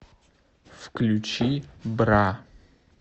включи бра